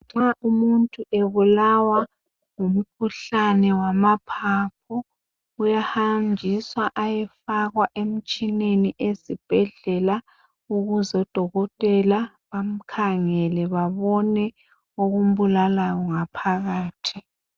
Nxa umuntu ebulawa ngumkhuhlane wamaphaphu .Uyahanjiswa ayefakwa emtshineni esibhedlela ,ukuze odokotela bamkhangele babone okumbulalayo ngaphakathi.